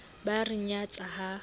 ba a re nyatsa ha